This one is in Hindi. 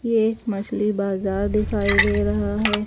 ये एक मछली बाजार दिखाई दे रहा है।